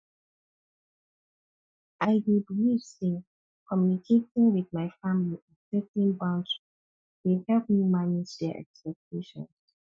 i dey believe say communicating wit my family and setting boundaries dey help me manage dia expectations